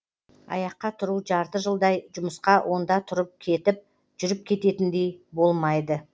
аяққа тұру жарты жылдай жұмысқа онда тұрып кетіп жүріп кететіндей болмайды